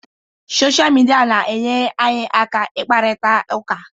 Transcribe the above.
Sọsha mịdia na-enyere anyị aka ịkparịta ụka.